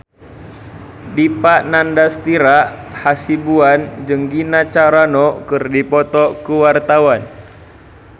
Dipa Nandastyra Hasibuan jeung Gina Carano keur dipoto ku wartawan